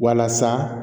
Walasa